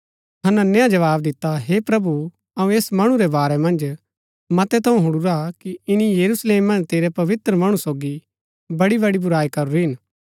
हनन्याह जवाव दिता हे प्रभु अऊँ ऐस मणु रै वारै मन्ज मतै थऊँ हुणुरा कि ईनी यरूशलेम मन्ज तेरै पवित्र मणु सोगी बड़ी बड़ी बुराई करूरी हिन